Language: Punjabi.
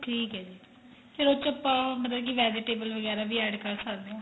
ਠੀਕ ਏ ਜੀ ਫੇਰ ਉਸ ਚ ਆਪਾਂ ਮਤਲਬ ਕੀ vegetable ਵਗੈਰਾ ਵੀ add ਕਰ ਸਕਦੇ ਓ